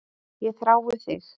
Ég þrái þig.